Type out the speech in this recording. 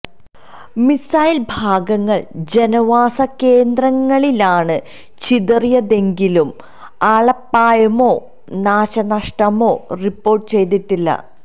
missile ഭാഗങ്ങള് ജനവാസ കേന്ദ്രങ്ങിലാണ് ചിതറിയതെങ്കിലും ആളപായമോ നാശനഷ്ടമോ റിപ്പോര്ട്ട് ചെയ്തിട്ടില്ല